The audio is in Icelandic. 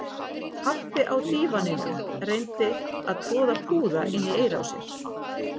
Pabbi á dívaninum reyndi að troða púða inn í eyrað á sér